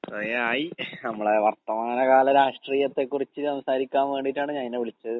കൊറേയായി. നമ്മളെ വർത്തമാനകാല രാഷ്ട്രീയത്തെ കുറിച്ച് സംസാരിക്കാൻ വേണ്ടീട്ടാണ് ഞാൻ നിന്നെ വിളിച്ചത്.